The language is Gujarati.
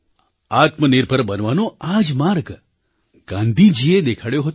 આત્મનિર્ભર બનવાનો આ જ માર્ગ ગાંધીજીએ દેખાડ્યો હતો